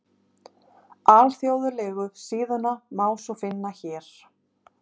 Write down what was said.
Alþjóðlegu síðuna má svo finna hér